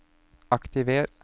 aktiver